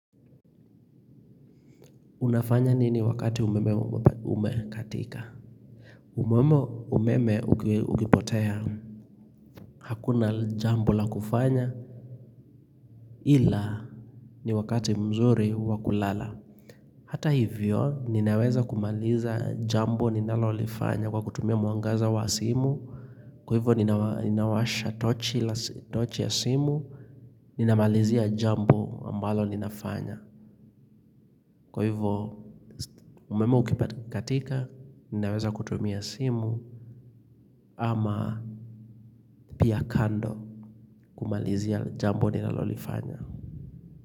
Unafanya nini wakati umeme umekatika? Umeme umeme ukipotea. Hakuna jambo la kufanya. Ila ni wakati mzuri wakulala. Hata hivyo, ninaweza kumaliza jambo ninalo lifanya kwa kutumia muangaza wa simu. Kwa hivyo, ninawasha tochi ya simu. Ninamalizia jambo ambalo ninafanya. Kwa hivo umeme ukipatika, ninaweza kutumia simu ama pia kando kumalizia jambo nina lolifanya.